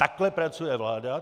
Takhle pracuje vláda.